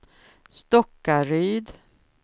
Stockaryd